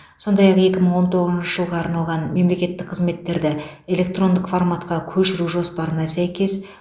сондай ақ екі мың он тоғызыншы жылға арналған мемлекеттік қызметтерді электрондық форматқа көшіру жоспарына сәйкес